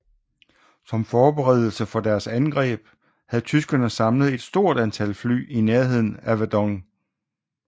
Som forberedelse for deres angreb havde tyskerne samlet et stort antal fly i nærheden af Verdun